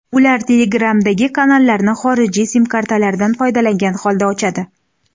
Ular Telegramdagi kanallarni xorijiy sim-kartalardan foydalangan holda ochadi.